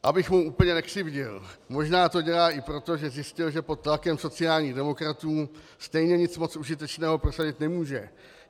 Abych mu úplně nekřivdil, možná to dělá i proto, že zjistil, že pod tlakem sociálních demokratů stejně nic moc užitečného prosadit nemůže.